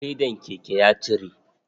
Fedan keken ya cire.